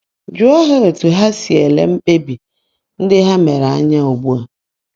Jụọ ha etu ha si ele mkpebi ndị ha mere anya ugbu a.